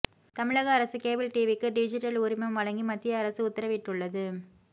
தமிழக அரசு கேபிள் டிவிக்கு டிஜிட்டல் உரிமம் வழங்கி மத்திய அரசு உத்தரவிட்டுள்ளது